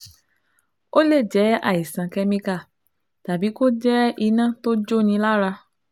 Ó lè jẹ́ àìsàn kẹ́míkà tàbí kó jẹ́ iná tó jóni lára